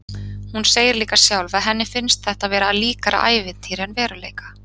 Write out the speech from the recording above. Hún segir líka sjálf að henni finnist þetta vera líkara ævintýri en veruleika.